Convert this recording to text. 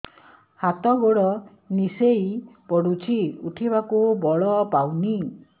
ହାତ ଗୋଡ ନିସେଇ ପଡୁଛି ଉଠିବାକୁ ବଳ ପାଉନି